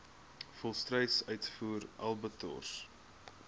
volstruis uitvoer abattoirs